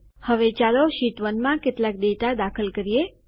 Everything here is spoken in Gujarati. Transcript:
હવે ચાલો શીટ 1 કેટલાક ડેટા દાખલ કરીએ